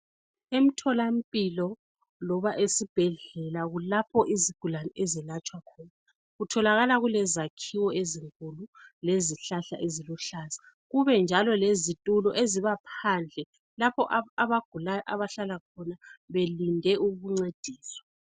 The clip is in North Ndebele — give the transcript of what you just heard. Emtholampilo loba esibhedlela kulapho izigulane ezelatshwa khona kutholakala kulezakhiwo ezinkulu lezihlahla eziluhlaza kube njalo lezitulo ezibaphandle lapho abagulayo abahlala khona belinde ukuncediswa .